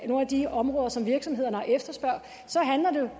nogle af de områder som virksomhederne efterspørger så handler det